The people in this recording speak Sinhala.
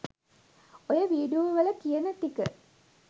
ඔය වීඩියෝ වල කියන ටික